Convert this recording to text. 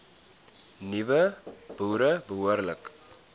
nuwe boere behoorlik